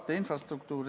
Otsus on vastu võetud.